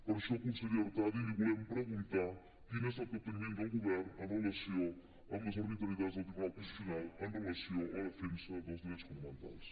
per això consellera artadi li vo·lem preguntar quin és capteniment del govern en relació amb les arbitrarietats del tribunal constitucional amb relació a la defensa dels drets fonamentals